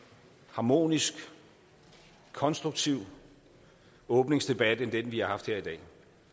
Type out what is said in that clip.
harmonisk konstruktiv åbningsdebat end den vi har haft her i dag